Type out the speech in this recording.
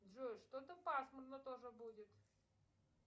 джой что то пасмурно тоже будет